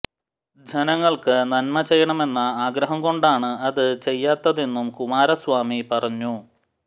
ജനങ്ങള്ക്ക് നന്മ ചെയ്യണമെന്ന ആഗ്രഹം കൊണ്ടാണ് അത് ചെയ്യാത്തതെന്നും കുമാരസ്വാമി പറഞ്ഞു